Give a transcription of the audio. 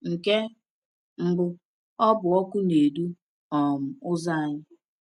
Nke mbụ, ọ bụ ọkụ na-edu um ụzọ anyị.